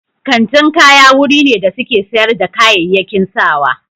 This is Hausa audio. Kantin kaya wuri ne da suke sayar da kayayyaki sawa.